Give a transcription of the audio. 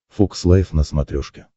фокс лайф на смотрешке